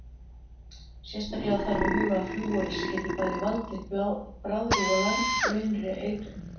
Sérstaklega þarf að huga að flúori sem getur bæði valdir bráðri og langvinnri eitrun.